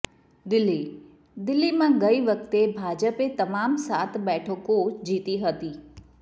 દિલ્હીઃ દિલ્હીમાં ગઈ વખતે ભાજપે તમામ સાત બેઠકો જીતી હતી